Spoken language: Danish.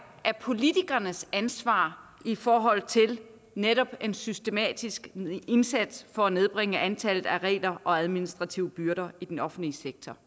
af politikernes ansvar i forhold til netop en systematisk indsats for at nedbringe antallet af regler og administrative byrder i den offentlige sektor